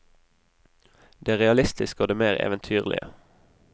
Det realistiske og det mer eventyrlige.